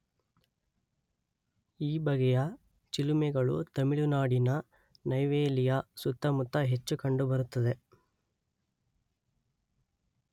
ಈ ಬಗೆಯ ಚಿಲುಮೆಗಳು ತಮಿಳುನಾಡಿನ ನೈವೇಲಿಯ ಸುತ್ತಮುತ್ತ ಹೆಚ್ಚು ಕಂಡುಬರುತ್ತದೆ.